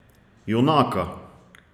Junaka!